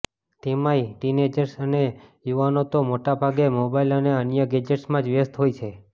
તેમાંય ટીનએજર્સ અને યુવાનો તો માટોભાગે મોબાઈલ અને અન્ય ગેજેટ્સમાં જ વ્યસ્ત હોય છે